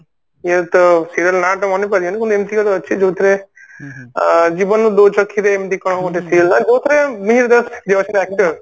ଇଏ ତ serial ନା ଟା ମନେ ପଡୁନି କିନ୍ତୁ ଏମତି ଗୋଟେ ଅଛି ଯୋଉଥିରେ ଜୀବନ ଦୋଛକି ରେ ଏମତି କଣ ଗୋଟେ serial ନା ଯୋଉଥିରେ ମିହିର ଦାସ actor